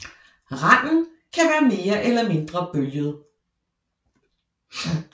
Randen kan være mere eller mindre bølget